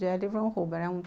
Jerry von Huber, né?